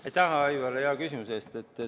Aitäh, Aivar, hea küsimuse eest!